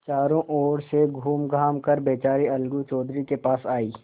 चारों ओर से घूमघाम कर बेचारी अलगू चौधरी के पास आयी